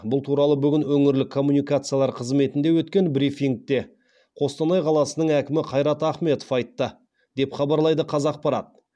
бұл туралы бүгін өңірлік коммуникациялар қызметінде өткен брифингіде қостанай қаласының әкімі қайрат ахметов айтты деп хабарлайды қазақпарат